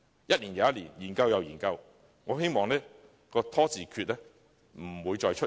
一年又一年，研究又研究，我希望"拖字訣"不會再出現。